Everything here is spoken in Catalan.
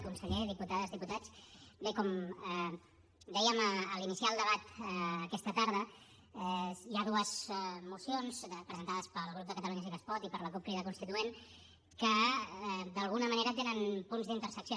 conseller diputades diputats bé com dèiem a l’iniciar el debat aquesta tarda hi ha dues mocions presentades pel grup de catalunya sí que es pot i per la cup crida constituent que d’alguna manera tenen punts d’intersecció